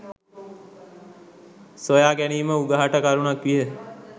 සොයා ගැනීම උගහට කරුණක් විය.